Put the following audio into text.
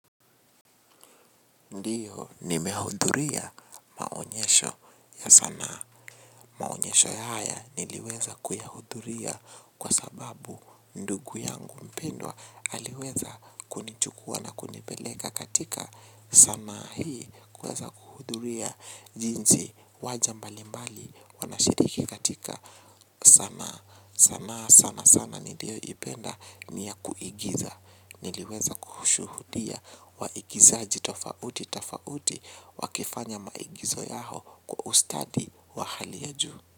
Ndiyo ni mehudhuria maonyesho ya sanaa. Maonyesho ya haya niliweza kuyahudhuria kwa sababu ndugu yangu mpindwa aliweza kunichukua na kunipeleka katika. Sanaa hii kweza kuhudhuria jinsi wajambali mbali wanashiriki katika sana. Sanaa sana sana niliyo ipenda niya kuigiza. Niliweza kuhushuhudia waigizaji tofauti tafauti wakifanya maigizo yaho kwa ustadi wa halia juu.